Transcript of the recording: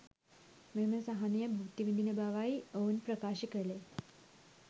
මෙම සහනය භුක්ති විඳින බවයි ඔවුන් ප්‍රකාශ කළේ